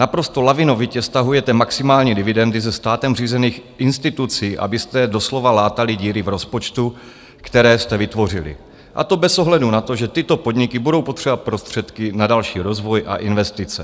Naprosto lavinovitě stahujete maximální dividendy ze státem řízených institucí, abyste doslova látali díry v rozpočtu, které jste vytvořili, a to bez ohledu na to, že tyto podniky budou potřebovat prostředky na další rozvoj a investice.